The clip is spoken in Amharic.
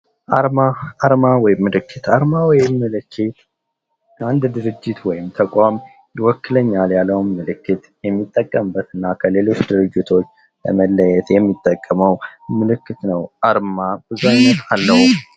አርማ ፦ አርማ ወይም ምልክት ፦ አርማ ወይም ምልክት አንድ ድርጅት ወይም ተቋም ይወክለኛል ያለውን ምልክት የሚጠቀምበት እና ከሌሎች ድርጅቶች ለመለየት የሚጠቀመው ምልክት ነው አርማ ብዙ አይነት አለው ።